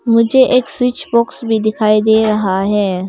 मुझे एक switch box भी दिखाई दे रहा है।